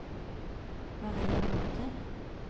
Maria Hovden